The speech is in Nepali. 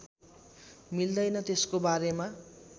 मिल्दैन त्यसको बारेमा